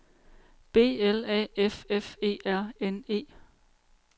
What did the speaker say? B L A F F E R N E